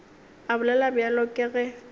a bolela bjalo ke ge